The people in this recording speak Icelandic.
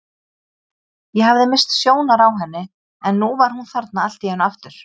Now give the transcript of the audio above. Ég hafði misst sjónar á henni en nú var hún þarna allt í einu aftur.